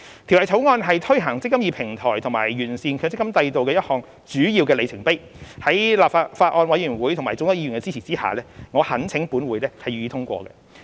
《條例草案》是推行"積金易"平台及完善強積金制度的一個主要里程碑，在法案委員會及眾多議員的支持下，我懇請立法會予以通過。